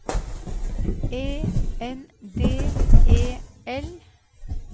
E N D E L